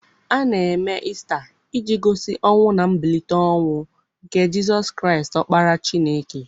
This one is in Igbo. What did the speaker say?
A na-eme Ista iji gosi ọnwụ na mbilite n'ọnwụ nke Jizọs Kraịst Ọkpara Chineke.